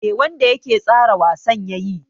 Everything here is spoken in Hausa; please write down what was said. Me wanda yake tsara wasan yayi?